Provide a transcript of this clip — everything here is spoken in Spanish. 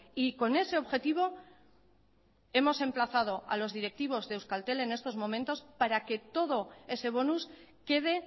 y con ese objetivo hemos emplazado a los directivos de euskaltel en estos momentos para que todo ese bonus quede